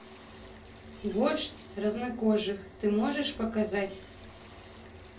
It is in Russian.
вождь краснокожих ты можешь показать